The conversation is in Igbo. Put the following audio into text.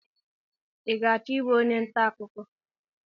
I ga-achọ ịbụ onye ntaakụkọ?